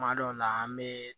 Kuma dɔw la an be